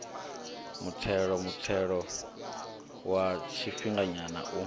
muthelo muthelo wa tshifhinganyana u